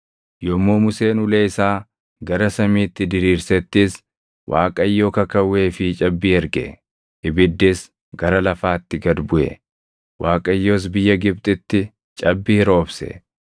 Yommuu Museen ulee isaa gara samiitti diriirsettis Waaqayyo kakawwee fi cabbii erge; ibiddis gara lafaatti gad buʼe. Waaqayyos biyya Gibxitti cabbii roobse;